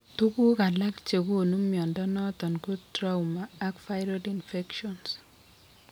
Tuguk alak chegonu mnyondo noton ko trauma ak viral infections